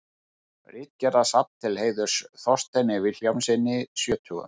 Ritgerðasafn til heiðurs Þorsteini Vilhjálmssyni sjötugum.